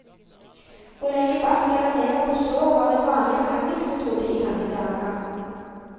Å legge bark eller never på sår var en vanlig behandlingsmetode i gamle dager.